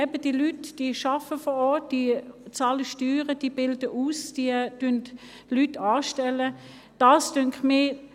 Eben: Die Leute arbeiten vor Ort, sie bezahlen Steuern, bilden aus und stellen Leute an.